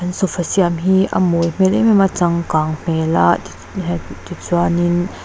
sofa siam hi a mawi hmel em em a changkang hmel a tichuan in--